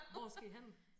Hvor skal I hen?